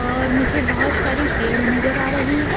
और मुझे बहुत सारी पेड़ नजर आ रही है।